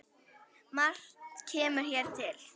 Margt kemur hér til.